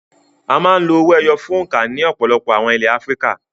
A máa ń lo owó ẹyọ fún òǹkà ní ọ̀pọ̀lọpọ̀ àwọn ilẹ̀ Áfíríkà.